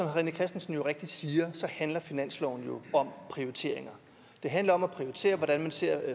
rené christensen rigtigt siger handler finansloven jo om prioritering det handler om at prioritere hvordan man ser